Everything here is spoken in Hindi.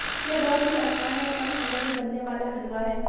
यह बहुत ही आसान और कम समय में बनने वाला हलवा है